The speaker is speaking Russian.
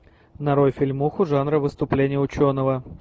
нарой фильмуху жанра выступление ученого